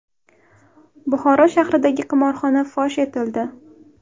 Buxoro shahridagi qimorxona fosh etildi.